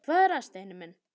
Hvað er það, Steini minn?